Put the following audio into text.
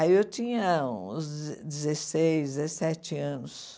Aí eu tinha uns deze dezesseis, dezessete anos.